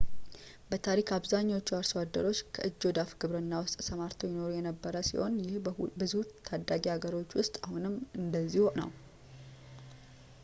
በታሪክ አብዛኛዎቹ አርሶ አደሮች ከእጅ ወደ አፍ ግብርና ውስጥ ተሰማርተው ይኖሩ የነበረ ሲሆን ይህ በብዙ ታዳጊ ሀገሮች ውስጥ አሁንም እንደዚያው ነው